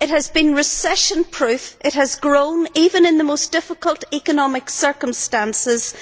it has been recession proof, it has grown even in the most difficult economic circumstances,